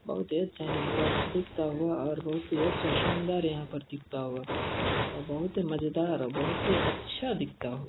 बहुत ही अच्छा यहाँ पर दिखता हुआ और बहुत ही अच्छा शानदार यहाँ पर दिखता हुआ और बहुत ही मजेदार और बहुत ही अच्छा दिखता हुआ--